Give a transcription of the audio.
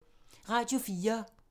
Radio 4